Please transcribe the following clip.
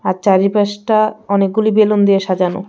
আর চারিপাশটা অনেকগুলি বেলুন দিয়ে সাজানো.